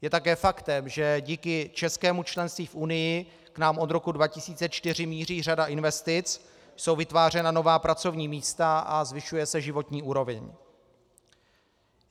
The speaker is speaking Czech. Je také faktem, že díky českému členství v Unii k nám od roku 2004 míří řada investic, jsou vytvářena nová pracovní místa a zvyšuje se životní úroveň.